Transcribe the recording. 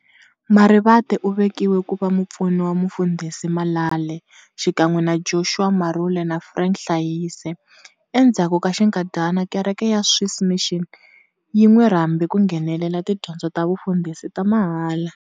Marivate uvekiwe kuva mupfuni wa Mufundhisi Malale, xikan'we na Joshua Marule na Frank Hlaise. Endzhaku ka xinkadyana, kereke ya Swiss Mission yi n'wirhambe ku nghenela tidyondzo ta vufundhisi ta mahala.